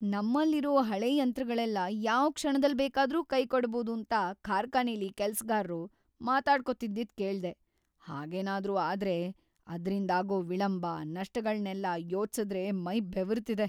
ನಮ್ಮಲ್ಲಿರೋ ‌ಹಳೇ ಯಂತ್ರಗಳೆಲ್ಲ ಯಾವ್‌ ಕ್ಷಣದಲ್‌ ಬೇಕಾದ್ರೂ ಕೈಕೊಡ್ಬೋದೂಂತ ಕಾರ್ಖಾನೆಲಿ ಕೆಲ್ಸ್‌ಗಾರ್ರು ಮಾತಾಡ್ಕೊತಿದ್ದಿದ್‌ ಕೇಳ್ದೆ, ಹಾಗೇನಾದ್ರೂ ಆದ್ರೆ ಅದ್ರಿಂದಾಗೋ ವಿಳಂಬ, ನಷ್ಟಗಳ್ನೆಲ್ಲ ಯೋಚ್ಸುದ್ರೇ ಮೈ ಬೆವರ್ತಿದೆ.